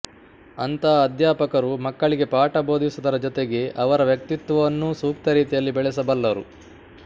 ಅಂಥ ಅಧ್ಯಾಪಕರು ಮಕ್ಕಳಿಗೆ ಪಾಠ ಬೋಧಿಸುವುದರ ಜೊತೆಗೆ ಅವರ ವ್ಯಕ್ತಿತ್ವವನ್ನೂ ಸೂಕ್ತರೀತಿಯಲ್ಲಿ ಬೆಳೆಸಬಲ್ಲರು